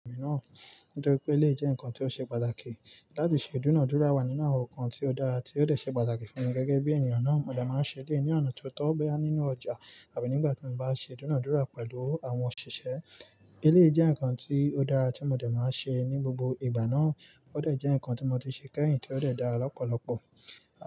Nítorí pé eléyii jẹ́ ǹkan tó ṣe pàtàkì láti ṣe ìdúnádúrà wá nínú àwọn ǹkan tí ó dára, tí ó ṣe pàtàkì fún mi gẹ́gẹ́ bí ènìyàn náà mo dẹ̀ máa ń ṣe eleyi ní ọ̀nà tó tọ́ boya nínú ọjà àbí nígbà tí mo bá ṣe ìdúnàdúrà pẹ̀lú àwọn òṣìṣẹ́. Éleyi jẹ́ ǹkan tí ó dára tí mo dẹ̀ máa ń ṣe ní gbogbo ìgbà náà, ó dẹ̀ jẹ́ ǹkan tí mo ti ṣe kẹ́yìn tí ó dẹ̀ dára lọ́pọ̀lọpọ̀